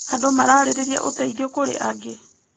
Andũ mararĩrĩria ũteithio kũrĩ angĩ.